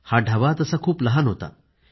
हा ढाबा खूप लहान होता